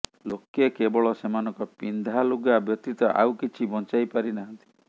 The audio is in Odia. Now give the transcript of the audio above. ଲୋକେ କେବଳ ସେମାନଙ୍କ ପିନ୍ଧା ଲୁଗା ବ୍ୟତୀତ ଆଉ କିଛି ବଞ୍ଚାଇ ପାରି ନାହାଁନ୍ତି